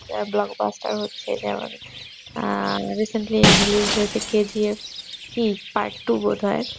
যা blockbuster হচ্ছে যা আর recently released হয়েছে KGF কি part-two বোধয়